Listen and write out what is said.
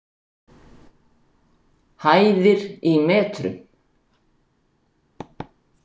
Hæðir í metrum.